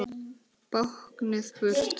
Báknið burt!